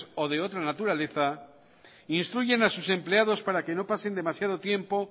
o de otra naturaleza instruyen a sus empleados para que no pasen demasiado tiempo